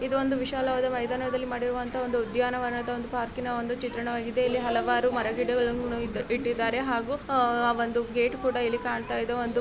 ಇದು ವಿಶಾಲ ಮೈದಾನದಲ್ಲಿ ಮಾಡಿರುವ ಒಂದು ಉದ್ಯಾನವನ ಒಂದು ಪಾರ್ಕಿನ ಚಿತ್ರವಾಗಿದೆ ಇಲ್ಲಿ ಹಲವಾರು ಮಹಾರಾ-ಗಿಡಗಳು ಇಟ್ಟಿದ್ದಾರೆ ಹಂಗೆ ಇಲ್ಲೊಂದು ಗೇಟ್ ಸಹ ಇದೆ.